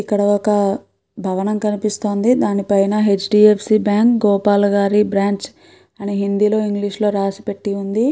ఇక్కడ ఒక భవనం కనిపిస్తోంది. దానిపైన H . D. F. C bank Gopal గారి బ్రాంచ్ అని హిందీ లో ఇంగ్లీషు లో రాసిపెట్టి ఉంది.